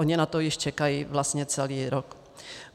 Oni na to již čekají vlastně celý rok.